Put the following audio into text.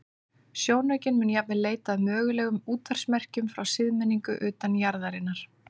Sjónaukinn mun jafnvel leita að mögulegum útvarpsmerkjum frá siðmenningu utan jarðarinnar.